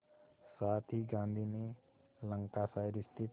साथ ही गांधी ने लंकाशायर स्थित